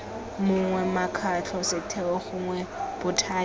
mongwe mokgatlho setheo gongwe bothati